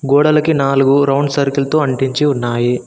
గోడలికి నాలుగు round circle తో అంటించి ఉన్నాయి.